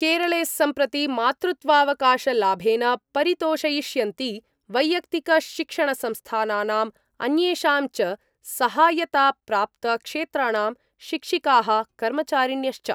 केरले सम्प्रति मातृत्वावकाशलाभेन परितोषयिष्यन्ति वैयक्तिकशिक्षणसंस्थानानां अन्येषां च सहायताप्राप्त क्षेत्राणां शिक्षिकाः कर्मचारिण्यश्च।